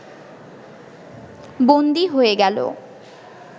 বন্দী হয়ে গেল